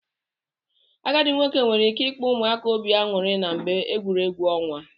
Agadi nwoke nwere ike ikpa ụmụaka obi anyụri na mgbe egwuregwu onwa.